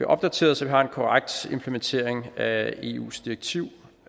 opdateret så vi har en korrekt implementering af eus direktiv